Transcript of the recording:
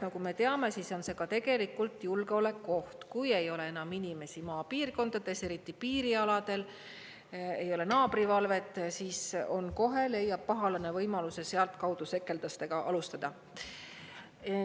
Nagu me teame, siis on see tegelikult julgeolekuoht, sest kui ei ole enam inimesi maapiirkondades, eriti piirialadel, ei ole naabrivalvet, siis kohe leiab pahalane võimaluse sealtkaudu sekeldustega alustada.